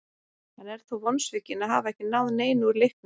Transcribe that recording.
Hann er þó vonsvikinn að hafa ekki náð neinu úr leiknum.